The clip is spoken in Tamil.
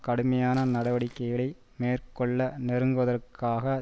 கடுமையான நடவடிக்கைகளை மேற்கொள்ள நெருக்குவதற்காக